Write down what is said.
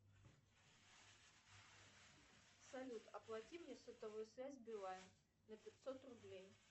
салют оплати мне сотовую связь билайн на пятьсот рублей